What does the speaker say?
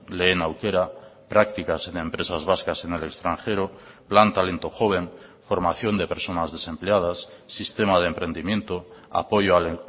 lehen aukera prácticas en empresas vascas en el extranjero plan talento joven formación de personas desempleadas sistema de emprendimiento apoyo al